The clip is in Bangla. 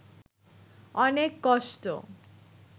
অনেক কষ্ট